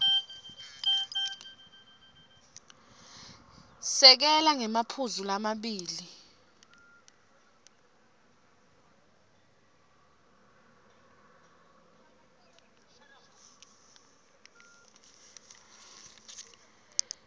sekela ngemaphuzu lamabili